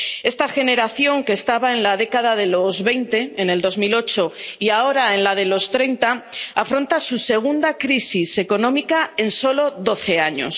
Esta generación, que estaba en la década de los veinte en 2008 y ahora en la de los treinta, afronta su segunda crisis económica en solo doce años.